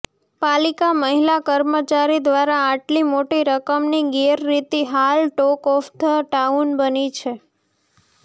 પાલિકા મહિલા કર્મચારી દ્વારા આટલી મોટી રકમની ગેરરીતી હાલ ટોક ઓફ ધ ટાઉન બની છે